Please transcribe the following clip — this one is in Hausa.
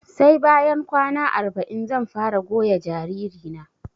Sai bayan kwana arba'in zan fara goya jariri na